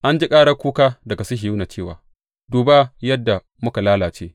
An ji karar kuka daga Sihiyona cewa, Duba yadda muka lalace!